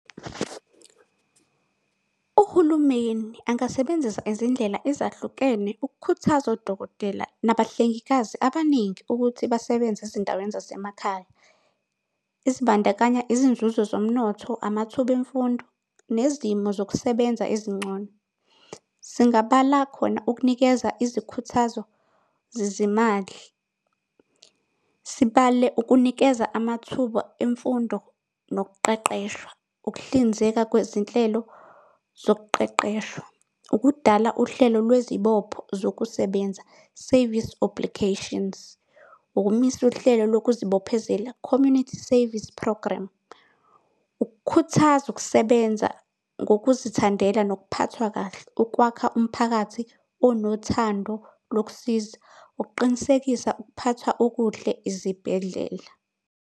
Uhulumeni angasebenzisa izindlela ezahlukene ukukhuthaza odokotela nabahlengikazi abaningi ukuthi basebenze ezindaweni zasemakhaya ezibandakanya izinzuzo zomnotho, amathuba emfundo nezimo zokusebenza ezingcono. Singabala khona ukunikeza izikhuthazo zezimali, sibale ukunikeza amathuba emfundo nokuqeqeshwa, ukuhlinzeka kwezinhlelo zokuqeqeshwa, ukudala uhlelo lwezibopho zokusebenza Service Obligations, ukumisa uhlelo lokhu zibophezela, community service program, ukukhuthaza ukusebenza ngokuzithandela nokuphathwa kahle ukwakha umphakathi onothando lokusiza ukuqinisekisa ukuphathwa okuhle ezibhedlela.